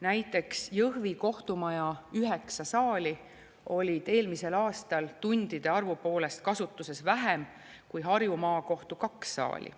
Näiteks Jõhvi kohtumaja üheksa saali olid eelmisel aastal tundide arvu poolest kasutuses vähem kui Harju Maakohtu kaks saali.